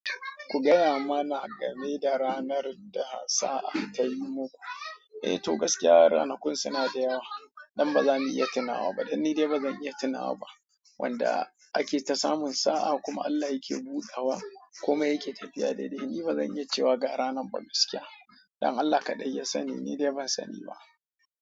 Ku gaya mana game da ranar da sa'a ta yimu ku. Eh, to gaskiya ranakun suna da yawa. Dan ba zani iya tunawa ba. Dan ni dai ba zan iya tunawa ba. Wanda ake ta samun sa'a kuma Allah yake buɗawa komai yake tafiya daidai. Ni ba zan iya cewa ga ranar ba gaskiya. Dan Allah kaɗai ya sani, ni dai ban sani ba.